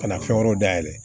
Ka na fɛn wɛrɛw dayɛlɛ